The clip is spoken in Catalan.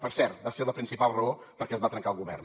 per cert va ser la principal raó per què es va trencar el govern